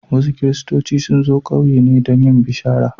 Wasu Kiristoci sun zo ƙauyena don yin bishara.